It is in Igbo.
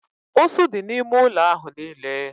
Ụsụ dị n'ime ụlọ ahụ niile